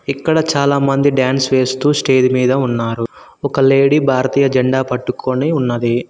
ఇక్కడ చాలా మంది డాన్స్ వేస్తూ స్టేజ్ మీద ఉన్నారు ఒక లేడీ భారతీయ జెండా పట్టుకొని ఉన్నది.